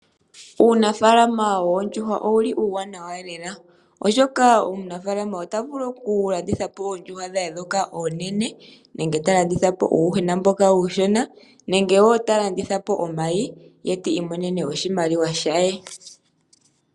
Uunafaalama woondjuhwa owuli uuwanawa lela, oshoka omunafaalama ota vulu oku landithapo oondjuhwa dhe ndhoka oonene, nenge ta landithapo uuyuhwena mboka uushona, nenge woo ta landithapo omayi, ye ti imonene oshimaliwa she.